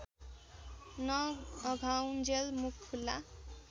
नअघाउञ्जेल मुख खुल्ला